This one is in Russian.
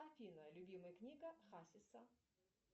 афина любимая книга хасиса